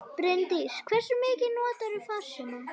Bryndís: Hversu mikið notarðu farsíma?